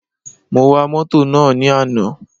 Mo wa mótò náà ní àná.